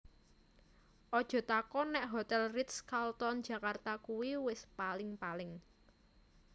Ojo takon nek Hotel Ritz Carlton Jakarta kui wis paling paling